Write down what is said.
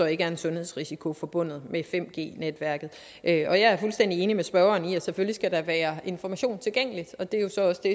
ikke er en sundhedsrisiko forbundet med 5g netværket og jeg er fuldstændig enig med spørgeren i at selvfølgelig skal der være information tilgængelig og det er jo så også det